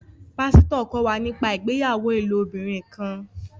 Pasito kọ wá nípa ìgbéyàwó ilobirin kán